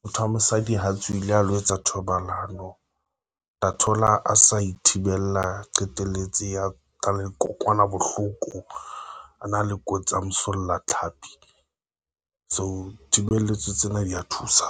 motho wa mosadi ha tswile a lo etsa thobalano, o tla thola a sa ithibela qetelletse a nka le dikokwanabohloko, a na le kotsi ya mosollatlhapi. So thibeletso tsena dia thusa.